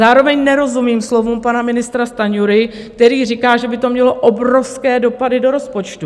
Zároveň nerozumím slovům pana ministra Stanjury, který říká, že by to mělo obrovské dopady do rozpočtu.